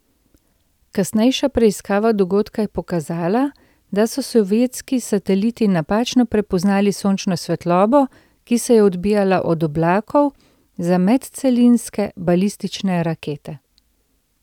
Kasnejša preiskava dogodka je pokazala, da so sovjetski sateliti napačno prepoznali sončno svetlobo, ki se je odbijala od oblakov, za medcelinske balistične rakete.